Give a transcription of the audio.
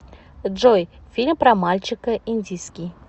джой фильм про мальчика индийский